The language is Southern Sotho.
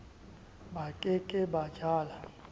ba ke ke ba jala